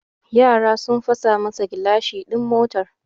Yara sun fasa masa gilashin din motar